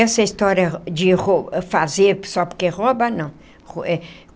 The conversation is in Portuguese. Essa história de fazer só porque rouba, não.